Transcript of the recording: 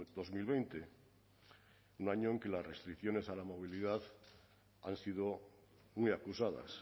dos mil veinte un año en que las restricciones a la movilidad han sido muy acusadas